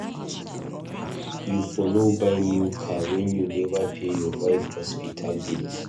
You for no buy new car wen you neva pay your wife hospital bills.